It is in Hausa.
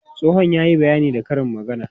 Tsohon ya yi bayani da karin magana.